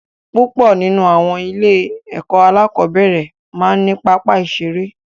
Púpọ̀ nínú àwọn ilé-ẹ̀kọ́ alákọ̀ọ́nbẹ̀rẹ̀ máa ń ní pápá ìṣeré.